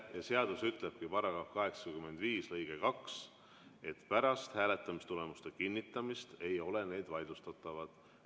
Ja seadus ütlebki, § 85 lõige 2, et pärast hääletamistulemuste kinnitamist ei ole need vaidlustatavad.